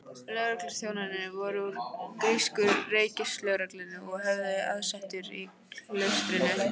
Lögregluþjónarnir voru úr grísku ríkislögreglunni og höfðu aðsetur í klaustrinu.